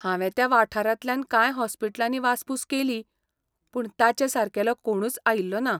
हांवें त्या वाठारांतल्यान कांय हॉस्पिटलांनी वासपूस केली पूण ताचे सारकेलो कोणूच आयिल्लो ना.